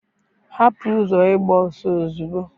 hapụ ụzọ ịgba ọsọ ozugbo